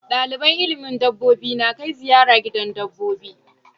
Samu koyan ilimin dabbobi na Kai ziyara gidan dabbobi